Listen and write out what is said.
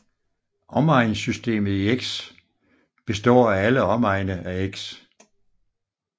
Omegnssystemet i x består af alle omegne af x